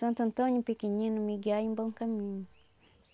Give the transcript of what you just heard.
Santo Antônio pequenino, me guiai em bom caminho.